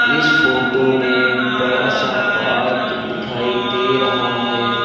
इस फोटो में बड़ा सा पार्क दिखाई दे रहा है।